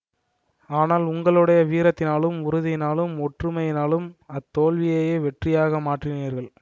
ஆனால் உங்களுடைய வீரத்தினாலும் உறுதியினாலும் ஒற்றுமையினாலும் அத்தோல்வியையே வெற்றியாக மாற்றினீர்கள்